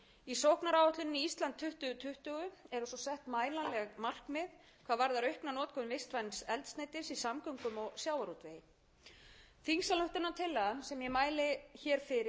í sóknaráætluninni ísland tvö þúsund tuttugu eru okkur sett mælanleg markmið hvað varðar aukna notkun vistvæns eldsneytis í samgöngum og sjávarútvegi þingsályktunin sem ég mæli hér fyrir er afrakstur starfshóps sem ég skipaði í maí á